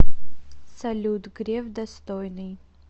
салют греф достойный